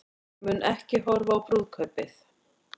Mun ekki horfa á brúðkaupið